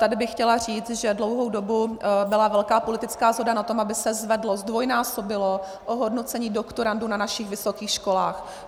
Tady bych chtěla říct, že dlouhou dobu byla velká politická shoda na tom, aby se zvedlo, zdvojnásobilo ohodnocení doktorandů na našich vysokých školách.